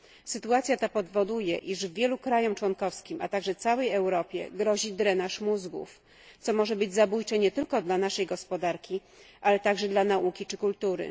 Sytuacja ta powoduje, iż wielu państwom członkowskim, a także całej Europie, grozi drenaż mózgów, co może być zabójcze nie tylko dla naszej gospodarki, ale także dla nauki czy kultury.